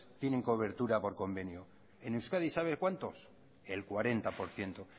tienen cobertura por convenio en euskadi sabe cuántos el cuarenta por ciento